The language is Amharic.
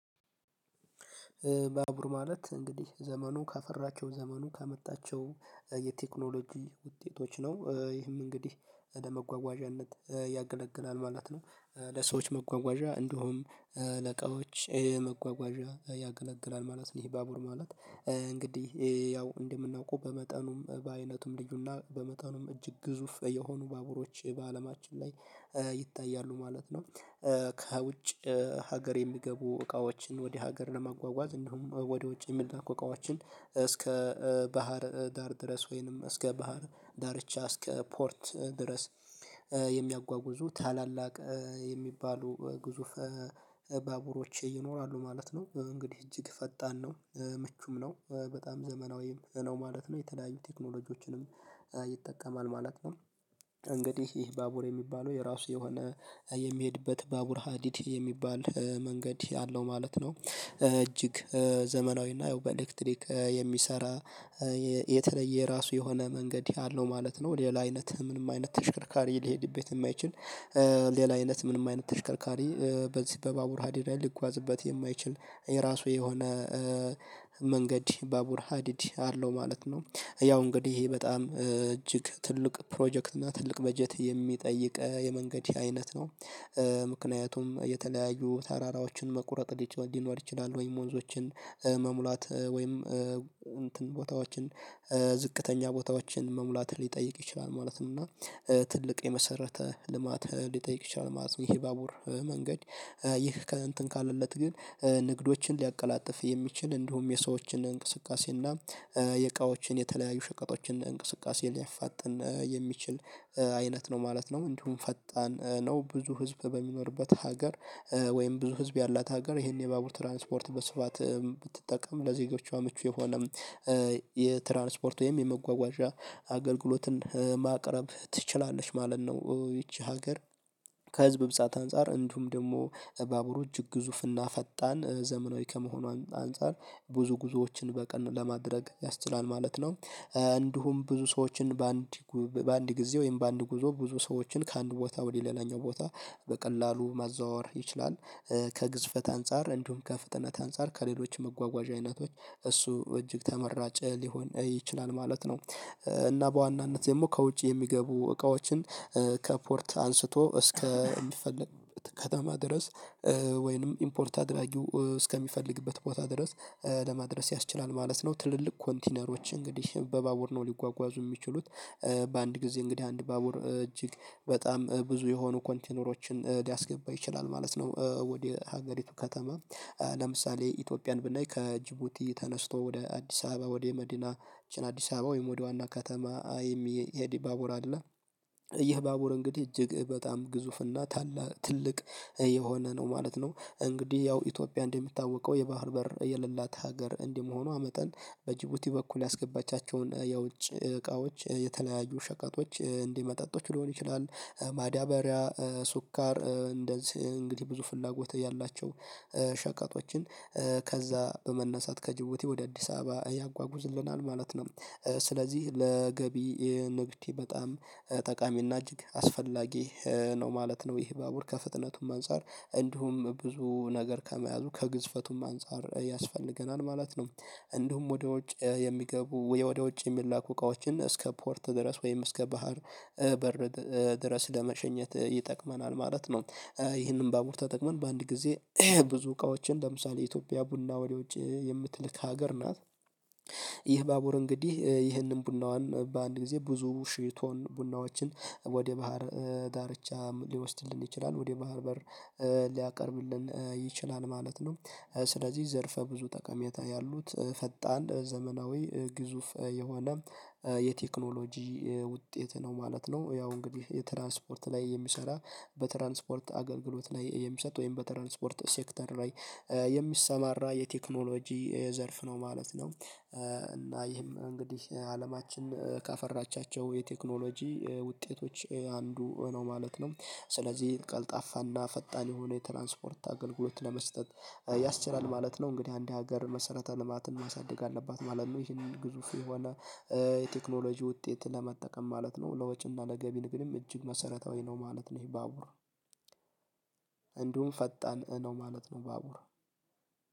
ባቡር ማለት እንግዲህ ዘመኑ ካፈራቸው ዘመኑ ካመጣቸው የቴክኖሎጂ ውጤቶች ነው ይህም እንግዲህ ለመጓጓዣነት ያገለግላል ማለት ነው። ለሰዎች መጓጓዣ እንደውም ለቃዎች ይሄ መጓጓዣ ያገለግላል ማለት ነው። ይሄ ባቡር ማለት እንግዲህ ያው እንደምናውቀው በመጠኑም በአይነቱም ልዩና በመጠኑም እጅግ ግዙፍ የሆኑ ባቡሮች በአለማችን ላይ ይታያሉ ማለት ነው። ከውጭ ሀገር የሚገቡ እቃዎችን ወደ ሀገር ለማጓጓዝ እንዲሁም ወደ ውጭ የሚላኩ እቃዎችን እስከ ባህር ዳር ድረስ ወይንም እስከ ባህር ዳርቻ እስከ ፖርት ድረስ የሚያጓጉዙ ታላላቅ የሚባሉ ግዙፍ ባቡሮች ይኖራሉ ማለት ነው። እንግዲህ እጅግ ፈጣን ነው ምቹም ነው በጣም ዘመናዊም ነው ማለት ነው የተለያዩ ቴክኖሎጂዎችንም ይጠቀማል ማለት ነው። እንግዲህ ይህ ባቡር የሚባለው የራሱ የሆነ የሚሄድበት ባቡር ሀዲት የሚባል መንገድ አለው ማለት ነው። እጅግ ዘመናዊና የው በኤሌክትሪክ የሚሰራ የተለየ የራሱ የሆነ መንገድ ያለው ማለት ነው። ሌላ አይነት ምንም አይነት ተሽከርካሪ ሊሄድበት የማይችል ሌላ አይነት ምንም አይነት ተሽከርካሪ በዚህ በባቡር ሀዲዳ ሊጓዝበት የማይችል የራሱ የሆነ መንገድ ባቡር ሀዲድ አለው ማለት ነው። ያው እንግዲህ ይሄ በጣም እጅግ ትልቅ ፕሮጀክት እና ትልቅ በጀት የሚጠይቅ የመንገድ ይሄ አይነት ነው ምክንያቱም የተለያዩ ተራራዎችን መቁረጥ ሊኖር ይችላል ወይም ወንዞችን መሙላት ወይም እንትን ቦታዎችን ዝቅተኛ ቦታዎችን መሙላት ሊጠይቅ ይችላል ማለት ነው። እና ትልቅ የመሰረተ ልማት ሊጠይቅ ይችላል ማለት ነው። ይሄ ባቡር መንገድ ይህ ከእንትን ካለለት ግን ንግዶችን ሊያቀላጥፍ የሚችል እንዲሁም የሰዎችን እንቅስቃሴ እና የእቃዎችን የተለያዩ ሸቀጦችን እንቅስቃሴ ሊያፋጥን የሚችል አይነት ነው ማለት ነው። እንዲሁም ፈጣን ነው ብዙ ህዝብ በሚኖርበት ሀገር ወይም ብዙ ህዝብ ያላት ሀገር ይሄን የባቡር ትራንስፖርት በስፋት ብትጠቀም ለዜጎቿ ምቹ የሆነ የትራንስፖርት ወይም የመጓጓዣ አገልግሎትን ማቅረብ ትችላለች ማለት ነው። ይቺ ሀገር ከህዝብ ብዛት አንፃር እንዲሁም ደግሞ ባቡሮች ግዙፍና ፈጣን ዘመናዊ ከመሆኗ አንፃር ብዙ ጉዞዎችን በቀን ለማድረግ ያስችላል ማለት ነው። እንዲሁም ብዙ ሰዎችን በአንድ በአንድ ጊዜ ወይም በአንድ ጉዞ ብዙ ሰዎችን ከአንድ ቦታ ወደ ሌላኛው ቦታ በቀላሉ ማዘዋወር ይችላል። ከግዝፈት አንፃር እንዲሁም ከፍጥነት አንፃር ከሌሎች መጓጓዣ አይነቶች እሱ እጅግ ተመራጨ ሊሆን ይችላል ማለት ነው። እና በዋናነት ደግሞ ከውጭ የሚገቡ እቃዎችን ከፖርት አንስቶ እስከ የምትፈልግ ከተማ ድረስ ወይንም ኢምፖርት አድራጊው እስከሚፈልግበት ቦታ ድረስ ለማድረስ ያስችላል ማለት ነው። ትልልቅ ኮንቲነሮች እንግዲህ በባቡር ነው ሊጓጓዙ የሚችሉት በአንድ ጊዜ እንግዲህ አንድ ባቡር እጅግ በጣም ብዙ የሆኑ ኮንቴነሮችን ሊያስገባ ይችላል ማለት ነው። ወደ ሀገሪቱ ከተማ ለምሳሌ ኢትዮጵያን ብናይ ከጅቡቲ ተነስቶ ወደ አዲስ አበባ ወደ መዲናችን አዲስ አበባ ወይም ወደ ዋና ከተማ የሚሄድ ባቡር አለ። ይህ ባቡር እንግዲህ እጅግ በጣም ግዙፍና ታላ ትልቅ የሆነ ነው ማለት ነው። እንግዲህ ያው ኢትዮጵያ እንደሚታወቀው የባህር በር የሌላት ሀገር እንደመሆኗ መጠን በጅቡቲ በኩል ያስገባቻቸውን የውጭ እቃዎች የተለያዩ ሸቀጦች እንዲህ መጠጦች ሊሆን ይችላል ማዳበሪያ ሱኳር እንደዚህ እንግዲህ ብዙ ፍላጎት ያላቸው ሸቀጦችን ከዛ በመነሳት ከጅብቲ ወደ አዲስ አበባ ያጓጉዝልናል ማለት ነው። ስለዚህ ለገቢ ንብቴ በጣም ጠቃሚና እጅግ አስፈላጊ ነው ማለት ነው። ይህ ባቡር ከፍጥነቱም አንፃር እንዲሁም ብዙ ነገር ከመያዙ ከግዝፈቱም አንፃር ያስፈልገናል ማለት ነው። እንዲሁም ወደ ውጭ የሚገቡ ወይ ወደ ውጭ የሚላኩ እቃዎችን እስከ ፖርት ድረስ ወይም እስከ ባህር በር ድረስ ለመሸኘት ይጠቅመናል ማለት ነው። ይህንን በባቡር ተጠቅመን በአንድ ጊዜ ብዙ እቃዎችን ለምሳሌ ኢትዮጵያ ቡና ወደ ውጭ የምትልክ ሀገር ናት። ይህ ባቡር እንግዲህ ይህንን ቡናዋን በአንድ ጊዜ ብዙ ሽ ቶን ቡናዎችን ወደ ባህር ዳርቻ ሊወስድልን ይችላል ወደ ባህር በር ሊያቀርብልን ይችላል ማለት ነው። ስለዚህ ዘርፈ ብዙ ጠቀሜታ ያሉት ፈጣን ዘመናዊ ግዙፍ የሆነ የቴክኖሎጂ ውጤት ነው ማለት ነው። ያው እንግዲህ የትራንስፖርት ላይ የሚሰራ በትራንስፖርት አገልግሎት ላይ የሚሰጥ ወይም በትራንስፖርት ሴክተር ላይ የሚሰማራ የቴክኖሎጂ የዘርፍ ነው ማለት ነው። እና ይህም እንግዲህ አለማችን ካፈራቻቸው የቴክኖሎጂ ውጤቶች አንዱ ነው ማለት ነው። ስለዚህ ቀልጣፋና ፈጣን የሆነ የትራንስፖርት አገልግሎት ለመስጠት ያስችላል ማለት ነው። እንግዲህ አንድ ሀገር መሰረተ ልማትን ማሳደግ አለባት ማለት ነው። ይሄን ግዙፍ የሆነ የቴክኖሎጂ ውጤት ለመጠቀም ማለት ነው። ለወጪና ለገቢን ግንኙነት እጅግ መሰረታዊ ነው ማለት ነው። ይሄ ባቡር እንዲሁም ፈጣን ነው ማለት ነው። ባቡር